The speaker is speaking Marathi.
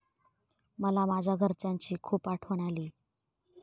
मला माझ्या घरच्यांची खूप आठवण आली.